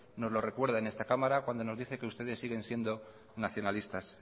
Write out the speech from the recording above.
nos lo recuerda en esta cámara cuando nos dice que ustedes siguen siendo nacionalistas